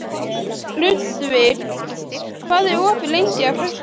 Ludvig, hvað er opið lengi á föstudaginn?